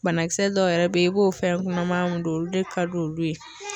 Banakisɛ dɔw yɛrɛ bɛ yen i b'o fɛn kɔnɔmaya mun don olu de ka di olu ye